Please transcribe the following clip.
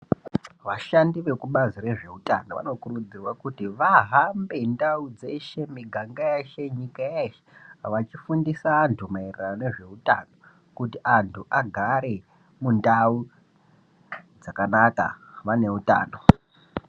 Vashandi vekubazi rezveutano vanokurudzirwa kuti vahambe ndau dzeshe, miganga yeshe, nyika yeshe vachifundisa antu maererano nezveutano kuti antu agare mundau dzakanaka vane utano.